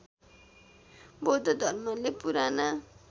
बौद्ध धर्मले पुराना